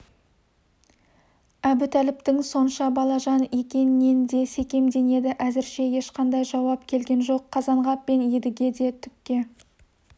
әбутәліптің сонша балажан екенінен де секемденеді әзірше ешқандай жауап келген жоқ қазанғап пен едіге де түкке